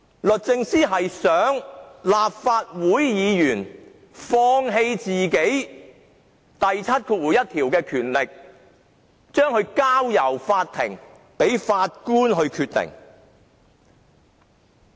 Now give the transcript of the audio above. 律政司想立法會議員放棄《條例》第71條賦予的權力，將問題交給法庭，由法官決定。